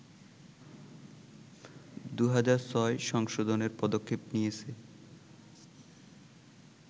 ২০০৬ সংশোধনের পদক্ষেপ নিয়েছে